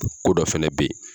Ko dɔ fana bɛ yen!